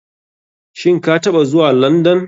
Shin kataɓa zuwa london?